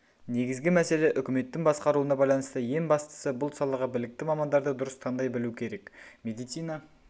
негізгі мәселе үкіметтің басқаруына байланысты ең бастысы бұл салаға білікті мамандарды дұрыс таңдай білу керек медицина